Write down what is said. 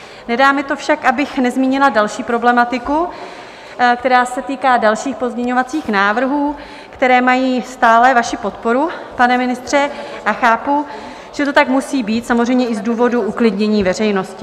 Nedá mi to však, abych nezmínila další problematiku, která se týká dalších pozměňovacích návrhů, které mají stále vaši podporu, pane ministře, a chápu, že to tak musí být, samozřejmě i z důvodu uklidnění veřejnosti.